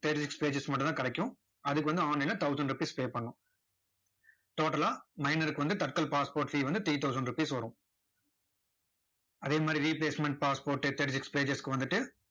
thirty six pages க்கு மட்டும் தான் கிடைக்கும். அதுக்கு வந்து online ல thousand rupees pay பண்ணணும். total லா minor க்கு வந்து தட்கல் passsport fee வந்துட்டு three thousand rupees வரும். அதே மாதிரி replacement passport thirty six pages க்கு வந்துட்டு